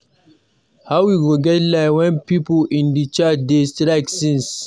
How we go get light wen the people in charge dey strike since.